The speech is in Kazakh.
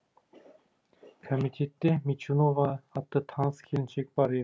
комитетте мичунова атты таныс келіншек бар еді